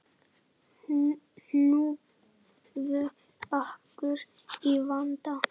Hnúfubakur í vanda